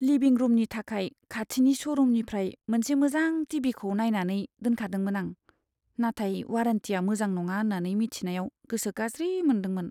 लिभिं रुमनि थाखाय खाथिनि श'रुमनिफ्राय मोनसे मोजां टि.भि.खौ नायनानै दोनखादोंमोन आं, नाथाय वारेन्टिया मोजां नङा होन्नानै मिथिनायाव गोसो गाज्रि मोनदोंमोन।